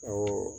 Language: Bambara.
Awɔ